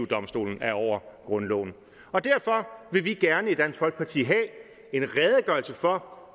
domstolen er over grundloven derfor vil vi gerne i dansk folkeparti have en redegørelse for